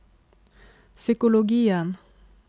psykologien